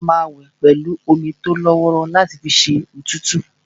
A máa wẹ̀ pẹ̀lú omi tólọ́wọ́rọ́ láti fi ṣẹ́ òtútù